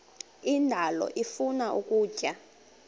indalo ifuna ukutya